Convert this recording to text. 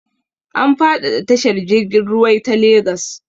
An faɗaɗa tashar jirg ruwai ta Lagos.